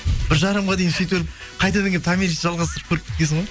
бір жарымға дейін сөйтіп қайтадан келіп томиристі жалғастырып көріп кеткенсің ғой